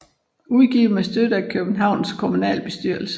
Udgivet med støtte af Københavns Kommunalbestyrelse